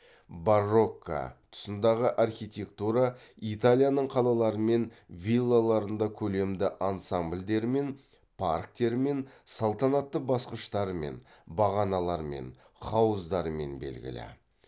барокко тұсындағы архитектура италияның қалалары мен виллаларында көлемді ансамбльдерімен парктерімен салтанатты басқыштарымен бағаналарымен хауыздарымен белгілі